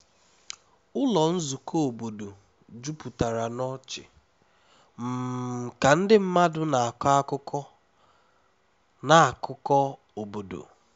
ụlọ nzukọ obodo jupụtara n'ọchị um ka ndị mmadụ na-akọ akụkọ na akụkọ obodo